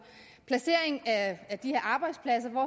placeringen af de her arbejdspladser hvor